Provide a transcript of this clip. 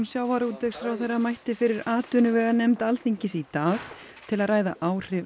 sjávarútvegsráðherra mætti fyrir atvinnuveganefnd Alþingis í dag til að ræða áhrif